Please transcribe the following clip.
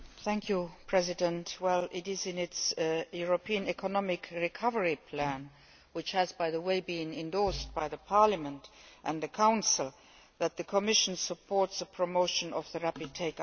It is in its European Economic Recovery Plan which has, by the way, been endorsed by Parliament and the Council that the Commission supports the promotion of the rapid take up of green products.